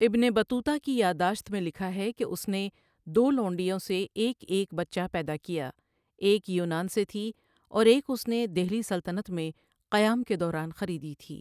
ابن بطوطہ کی یاد داشت میں لکھا ہے کہ اس نے دو لونڈیوں سے ایک ایک بچہ پیدا کیا، ایک یونان سے تھی اور ایک اس نے دہلی سلطنت میں قیام کے دوران خریدی تھی۔